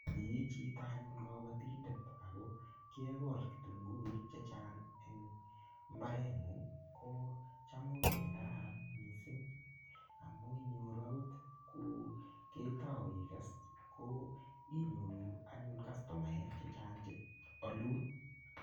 Ii chito anyun kabotindet ako kiekol kitunguik chechang' eng' mbareng'ung' ko cham ko kii nekararan mising' amun inyoru akot ko ketou ikes ko inyoru anyun kastomaek chechang' cheolun